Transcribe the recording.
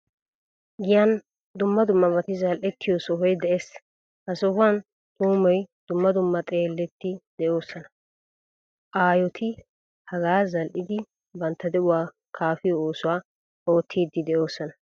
Giyan dumma dummabati zal'ettiyo sohoy de'ees. Ha sohuwaan tuumoy, dumma dumma xalletti deosona. Aayoti hagaa zal'idi bantta deiuwaa kaafiyo oosuwaa oottidi deosona.